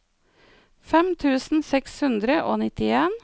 fem tusen seks hundre og nittien